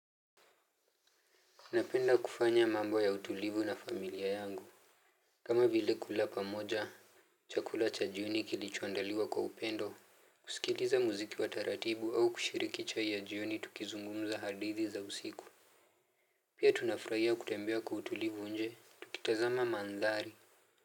Napenda kufanya mambo ya utulivu na familia yangu. Kama vile kula pamoja chakula cha jioni kilichoandaliwa kwa upendo kusikiliza muziki wa taratibu au kushiriki chai ya jioni tukizungumza hadithi za usiku. Pia tunafurahia kutembea kwa utulivu nje tukitazama mandhari.